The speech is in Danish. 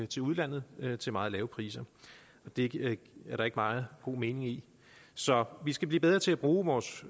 til udlandet til meget lave priser det er der ikke meget mening i så vi skal blive bedre til at bruge vores